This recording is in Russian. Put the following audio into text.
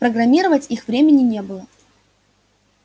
программировать их времени не было